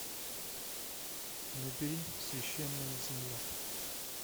набери священная земля